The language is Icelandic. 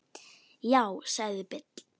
Já, sagði Bill.